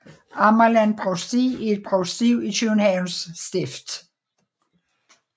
Amagerland Provsti er et provsti i Københavns Stift